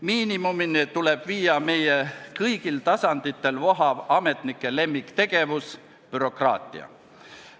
Miinimumini tuleb viia meie ametnike kõigil tasanditel vohav lemmiktegevus – bürokraatia.